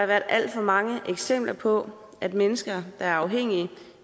været alt for mange eksempler på at mennesker der er afhængige